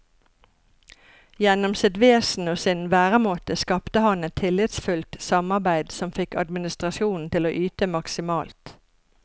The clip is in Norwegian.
Gjennom sitt vesen og sin væremåte skapte han et tillitsfullt samarbeid som fikk administrasjonen til å yte maksimalt.